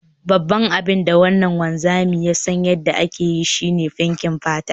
Babban abin da wannan wanzami ya san yadda ake yi, shi ne fenkin fata